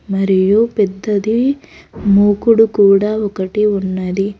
మరియు పెద్దది మూకుడు కూడా ఒకటి ఉన్నది.